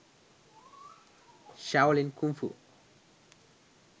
shaolin kungfu